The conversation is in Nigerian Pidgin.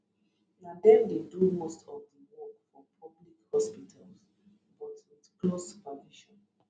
na dem dey do most of di work for public hospitals but wit close supervision